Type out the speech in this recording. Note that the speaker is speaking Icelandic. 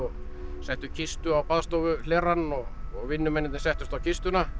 settu kistu á og vinnumennirnir settust á kistuna